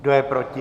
Kdo je proti?